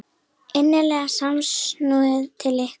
Innileg samúð til ykkar.